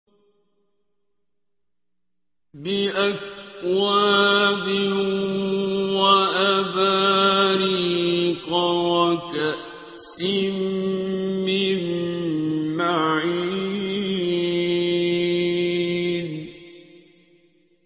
بِأَكْوَابٍ وَأَبَارِيقَ وَكَأْسٍ مِّن مَّعِينٍ